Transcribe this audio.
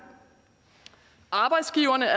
arbejdsgiverne